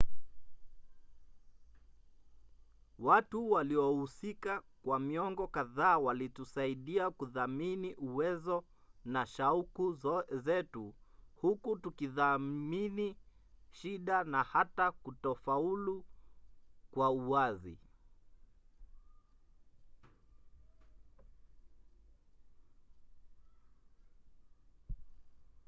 watu waliohusika kwa miongo kadhaa walitusaidia kuthamini uwezo na shauku zetu huku tukitathmini shida na hata kutofaulu kwa uwazi